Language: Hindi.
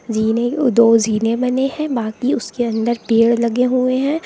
जीने को दो जीने बने हैं बाकी उसके अंदर पेड़ लगे हुए हैं।